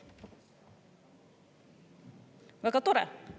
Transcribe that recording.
Väga tore!